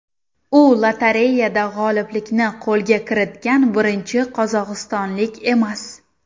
U lotereyada g‘oliblikni qo‘lga kiritgan birinchi qozog‘istonlik emas.